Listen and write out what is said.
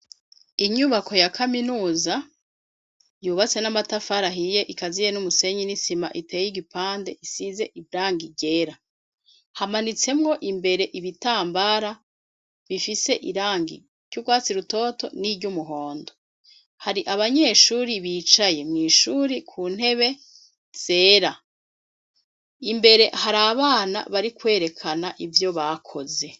Inyubako ya kaminuza yubatse n'amatafari ahiye ikaziye n'umusenyi n'isima iteye igipande isize irangi ryera, hamanitsemwo imbere ibitambara bifise irangi ryurwatsi rutoto n'iryumuhondo, hari abanyeshure bicaye mwishure ku ntebe zera , imbere harabana bari kwerekana ivyo bakoze.